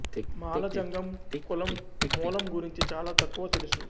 మాల జంగం కులం మూలం గురించి చాలా తక్కువ తెలుసు